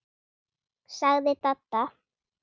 sagði Dadda.